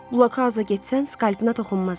Blokauza getsən, skalpına toxunmazlar.